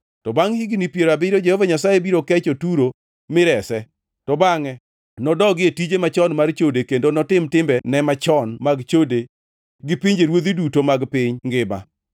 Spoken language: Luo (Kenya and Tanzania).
To bangʼ higni piero abiriyo Jehova Nyasaye biro kecho Turo mirese. To bangʼe nodogi e tije machon mar chode kendo notim timbene machon mag chode gi pinjeruodhi duto mag piny ngima.